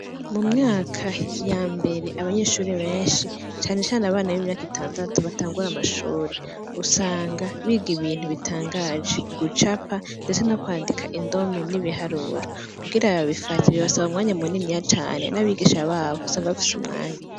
Mumyaka yambere abanyeshure benshi canecane abi imyaka itandatu batangura amashure usanga biga ibintu bitangaje gucapa mbere no kwandika indome, ni biharuro kugira babifate bisaba umwanya munini cane.